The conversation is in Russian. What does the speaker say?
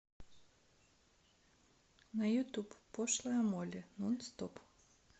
на ютуб пошлая молли нон стоп